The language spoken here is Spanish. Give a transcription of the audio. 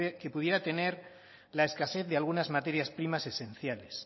que pudiera tener la escasez de algunas materias primas esenciales